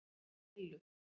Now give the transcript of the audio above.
með ælu.